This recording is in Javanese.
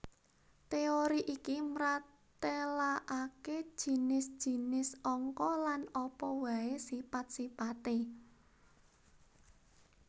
Téori iki mratélakaké jinis jinis angka lan apa waé sipat sipaté